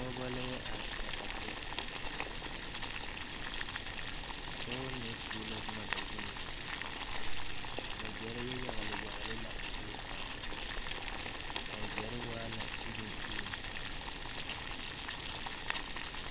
Pɔgeba la are are a kyɛ a Pɔgeba mine tuo la boma ba zuiŋ wagyare yagle yagle la a zie zaa a wagyare waa la iruŋ iruŋ.